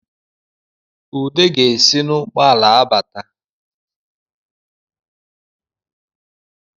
Ude ga-esi n’ụgbọala abata